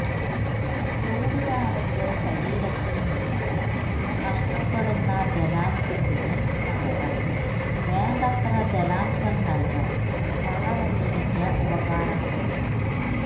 ചൂടുകാലത്ത് ശരീരത്തില് നിന്നും നഷ്ടപ്പെടുന്ന ജലാംശത്തിന് പകരം വേണ്ടത്ര ജലാംശം നല്കാന് പഴവെള്ളരിക്ക ഉപകാരപ്പെടും